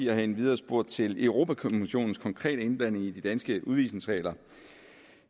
har endvidere spurgt til europa kommissionens konkrete indblanding i de danske udvisningsregler